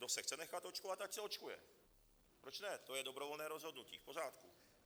Kdo se chce nechat očkovat, ať se očkuje, proč ne, to je dobrovolné rozhodnutí, v pořádku.